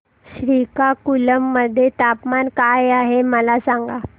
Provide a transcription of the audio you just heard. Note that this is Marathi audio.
श्रीकाकुलम मध्ये तापमान काय आहे मला सांगा